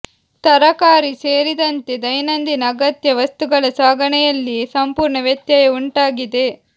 ತರಕಾರಿ ಸೇರಿದಂತೆ ದೈನಂದಿನ ಅಗತ್ಯ ವಸ್ತುಗಳ ಸಾಗಣೆಯಲ್ಲಿ ಸಂಪೂರ್ಣ ವ್ಯತ್ಯಯ ಉಂಟಾಗಿದೆ